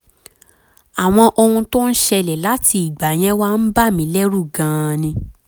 àwọn ohun tó ń ṣẹlẹ̀ láti ìgbà yẹn wá ń bà mí lẹ́rù gan-an ni